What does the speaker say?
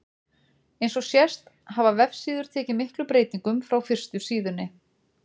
Eins og sést hafa vefsíður tekið miklum breytingum frá fyrstu síðunni.